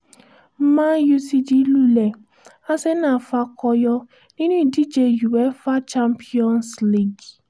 man u lulẹ̀ arsenal fakọyọ nínú ìdíje uefa champions league